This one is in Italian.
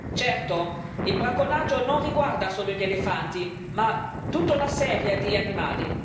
Certo, il bracconaggio non riguarda solo gli elefanti, ma tutta una serie di animali.